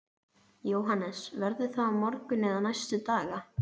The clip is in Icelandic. Jóhannes: Verður það á morgun eða næstu daga?